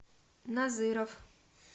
назыров